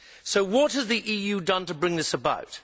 So what has the EU done to bring this about?